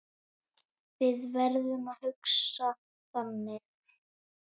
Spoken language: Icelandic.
Við verðum að hugsa þannig.